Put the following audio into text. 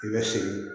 I bɛ sigi